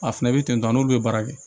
A fɛnɛ bɛ ten tɔ n'olu bɛ baara kɛ